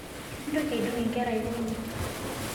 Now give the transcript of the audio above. Mintoki aidong nkera aikonyi